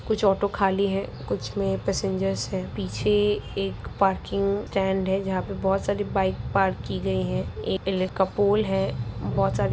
कुछ ऑटो खाली हैं | कुछ में पैसेंजेर्स हैं | पीछे एक पार्किंग स्टैंड है जहां पे बोहोत सारी बाइक पार्क की गई हैं । का पोल है | बोहोत सारे --